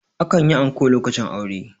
akan yi anko lokacin aure